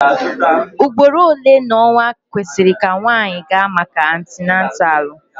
Ugboro ole n'ọnwa kwesịrị ka nwanyị gaa maka atinatalu?